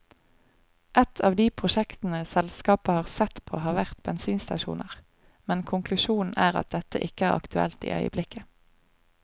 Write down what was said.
Et av de prosjektene selskapet har sett på har vært bensinstasjoner, men konklusjonen er at dette ikke er aktuelt i øyeblikket.